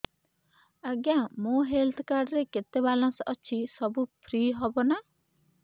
ଆଜ୍ଞା ମୋ health card ରେ କେତେ ବାଲାନ୍ସ ଅଛି ସବୁ ଫ୍ରି ହବ ନାଁ